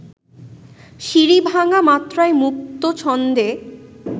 সিঁড়ি-ভাঙা মাত্রায় মুক্ত ছন্দে